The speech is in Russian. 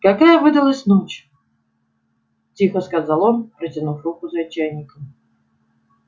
какая выдалась ночь тихо сказал он протянув руку за чайником